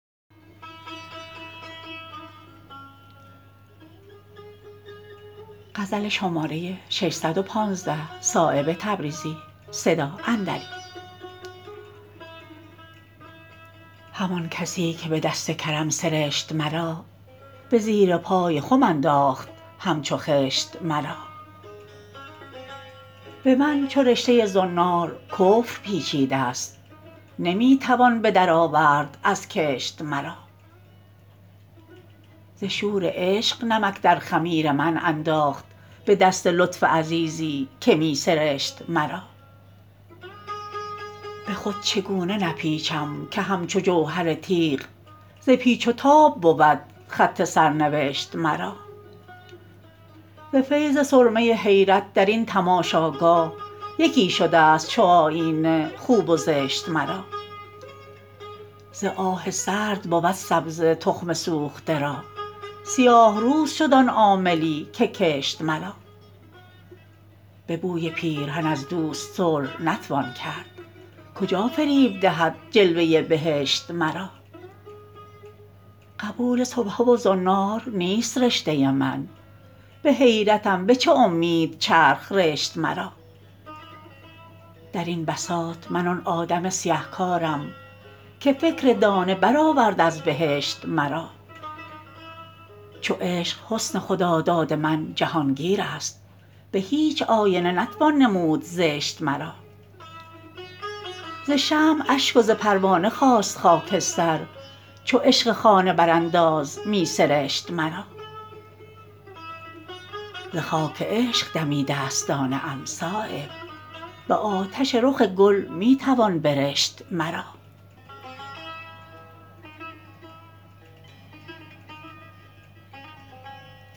همان کسی که به دست کرم سرشت مرا به زیر پای خم انداخت همچو خشت مرا به من چو رشته زنار کفر پیچیده است نمی توان بدر آورد از کنشت مرا ز شور عشق نمک در خمیر من انداخت به دست لطف عزیزی که می سرشت مرا به خود چگونه نپیچم که همچو جوهر تیغ ز پیچ و تاب بود خط سرنوشت مرا ز فیض سرمه حیرت درین تماشاگاه یکی شده است چو آیینه خوب و زشت مرا ز آه سرد بود سبزه تخم سوخته را سیاه روز شد آن عاملی که کشت مرا به بوی پیرهن از دوست صلح نتوان کرد کجا فریب دهد جلوه بهشت مرا قبول سبحه و زنار نیست رشته من به حیرتم به چه امید چرخ رشت مرا درین بساط من آن آدم سیه کارم که فکر دانه برآورد از بهشت مرا چو عشق حسن خداداد من جهانگیر است به هیچ آینه نتوان نمود زشت مرا ز شمع اشک و ز پروانه خواست خاکستر چو عشق خانه برانداز می سرشت مرا ز خاک عشق دمیده است دانه ام صایب به آتش رخ گل می توان برشت مرا